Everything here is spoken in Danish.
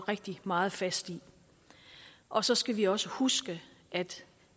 rigtig meget fast i og så skal vi også huske at der